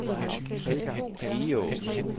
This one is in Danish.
Egå